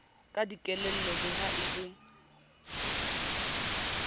ka dikelello le ha e